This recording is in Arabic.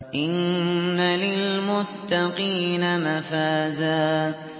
إِنَّ لِلْمُتَّقِينَ مَفَازًا